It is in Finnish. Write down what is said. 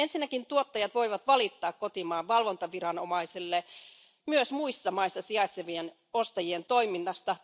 Ensinnäkin tuottajat voivat valittaa kotimaan valvontaviranomaiselle myös muissa maissa sijaitsevien ostajien toiminnasta.